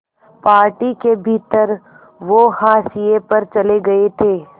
party के भीतर वो हाशिए पर चले गए थे